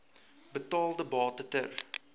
betaalde bate ter